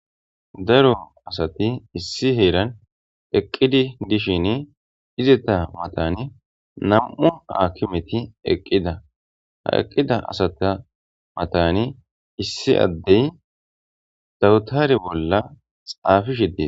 Daro asati issi heeran eqqidi dishin izeta matani na'mu hakimeti eqqida ha eqqida asata matani issi addey dawutare bolla xaafishe dees